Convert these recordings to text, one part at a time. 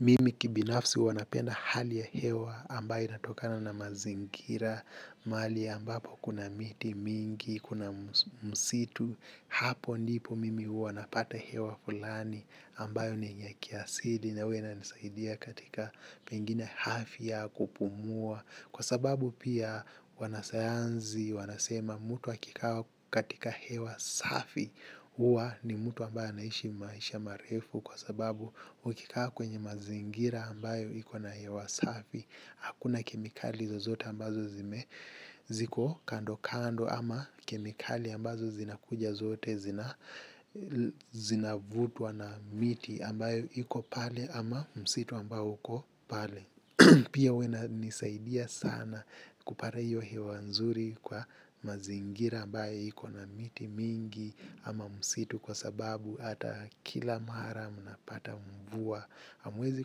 Mimi kibinafsi huwa anapenda hali ya hewa ambayo inatokana na mazingira, mahali ambapo kuna miti mingi, kuna msitu, hapo ndipo mimi huwa napata hewa fulani ambayo ni yenye kiasili na huwa inanisaidia katika pengine hafi ya kupumua. Kwa sababu pia wanasayansi wanasema mtu akikaa katika hewa safi huwa ni mtu ambaye anaishi maisha marefu. Kwa sababu ukikaa kwenye mazingira ambayo iko na hewa safi hakuna kemikali zozote ambazo ziko kando kando ama kemikali ambazo zinakuja zote zinavutwa na miti ambayo iko pale ama msitu ambao uko pale. Poa huwa inanisaidia sana kupata hiyo hewa nzuri kwa mazingira ambayo iko na miti mingi ama msitu kwa sababu ata kila mara mnapata mvua hamwezi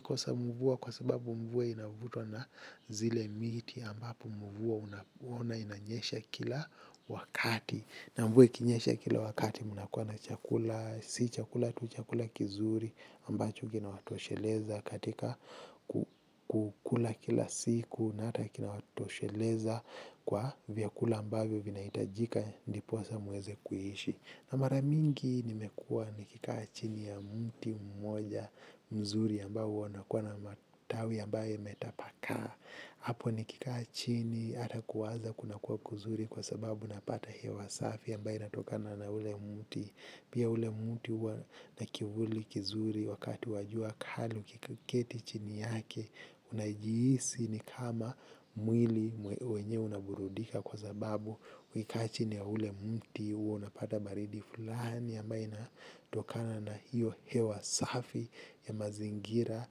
kosa mvua kwa sababu mvua inavutwa na zile miti ambapo mvua huwa inanyesha kila wakati. Na mvua ikinyesha kila wakati mnakua na chakula, si chakula tu chakula kizuri ambacho kina watosheleza katika kukula kila siku na hata kina watosheleza kwa vyakula ambavyo vinahitajika ndiposa muweze kuishi. Na mara mingi nimekuwa nikikaa chini ya mti mmoja mzuri ambao huwa unakuwa na matawi ambayo imetapakaa. Hapo nikikaa chini ata kuwaza kuna kuwa kuzuri kwa sababu napata hewa safi ambayo inatokana na ule mti. Pia ule mti huwa kivuli kizuri wakati wa jua kali ukiketi chini yake. Unajihisi ni kama mwili wenyewe unaburudika. Kwa sababu ukikaa chini ya ule mti huwa unapata baridi fulani ambayo inatokana na hiyo hewa safi ya mazingira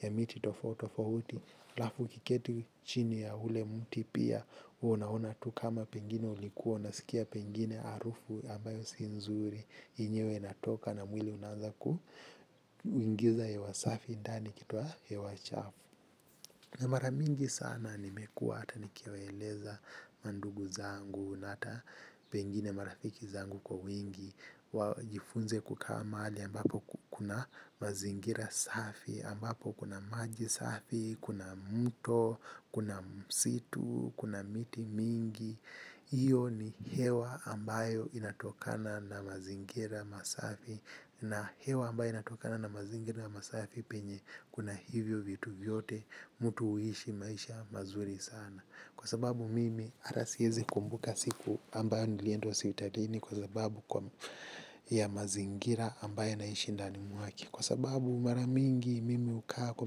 ya miti tofauti tofauti alafu ukiketi chini ya ule mti pia huwa unaona tu kama pengine ulikuwa. Unasikia pengine harufu ambayo si nzuri yenyewe inatoka na mwili unaanza kuingiza hewasafi ndani ikitoa hewa chafu na mara mingi sana nimekua hata nikiwaeleza mandugu zangu na hata pengine marafiki zangu kwa wingi wajifunze kukaa mahalli ambapo kuna mazingira safi ambapo kuna maji safi kuna mto kuna msitu kuna miti mingi. Hiyo ni hewa ambayo inatokana na mazingira masafi na hewa ambayo inatokana na mazingira masafi penye kuna hivyo vitu vyote. Mtu huishi maisha mazuri sana. Kwa sababu mimi ata siezi kumbuka siku ambayo nilienda hospitalini kwa sababu ya mazingira ambayo naishi ndani mwake. Kwa sababu mara mingi mimi hukaa kwa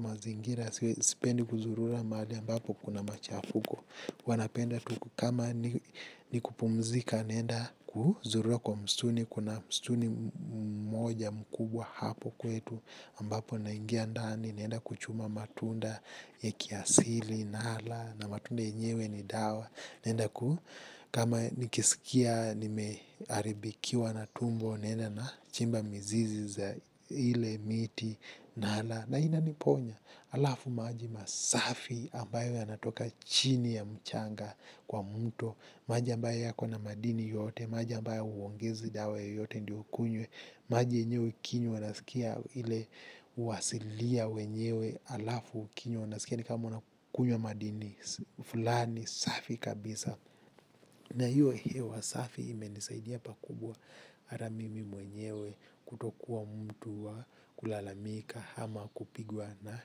mazingira. Sipendi kuzurula mahali ambapo kuna machafuko. Huwa napenda tu kama nikpumzika naenda kuzurura kwa msituni. Kuna msituni moja mkubwa hapo kwetu ambapo naingia ndani naenda kuchuna matunda ya kiasili nala na matunda yenyewe ni dawa naenda kuu kama nikisikia nimeharibikiwa na tumbo naenda na chimba mzizi za ile miti nala na ina niponya alafu maji masafi ambayo yanatoka chini ya mchanga kwa mto. Maji ambayo yako na madini yote maji ambayo huongezi dawa yoyote ndio ukunywe. Maji yenyewe ukinywa unaskia ile uasilia wenyewe alafu ukinywa unasikia ni kama unakunywa madini fulani safi kabisa. Na hiyo hewa safi imenisaidia pakubwa. Ata mimi mwenyewe kutokuwa mtu wa kulalamika ama kupigwa na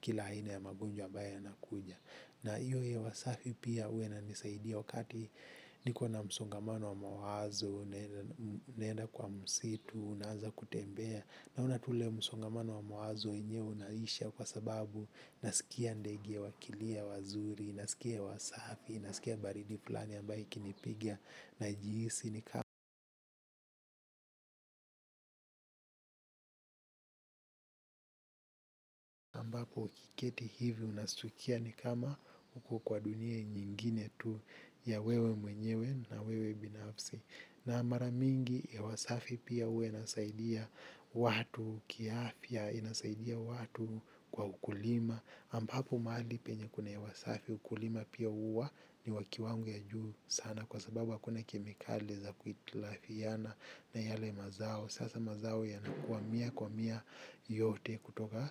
kila aina ya magonjwa ambaye yanakuja. Na hiyo hewa safi pia huwa inanisaidia wakati niko na msongamano wa mawazo, naenda kwa msitu, naanza kutembea. Naona tu ule msongamano wa mawazo enyewe unaisha kwa sababu nasikia ndege wakilia wazuri, nasikia wasafi, nasikia baridi fulani ambayo ikinipigia najihisi ni kama ambapo ukiketi hivi unastukia ni kama uko kwa dunia nyingine tu ya wewe mwenyewe na wewe binafsi. Na mara mingi hewa safi pia huwa inasaidia watu, kiafya, inasaidia watu kwa ukulima ambapo mahali penye kuna hewa safi, ukulima pia huwa ni wa kiwango ya juu sana. Kwa sababu hakuna kemikali za kuhitilafiana na yale mazao sasa mazao yanakua mia kwa mia. Yote kutoka.